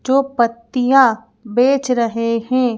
जो पत्तियाँ बेंच रहे हैं।